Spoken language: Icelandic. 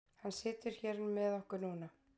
Hann situr hér með okkur núna.